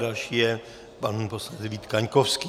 Další je pan poslanec Vít Kaňkovský.